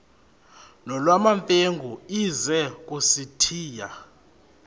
nolwamamfengu ize kusitiya